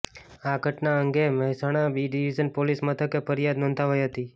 આ ઘટના અંગે મહેસાણા બી ડિવિઝન પોલીસ મથકે ફરિયાદ નોંધાવાઈ હતી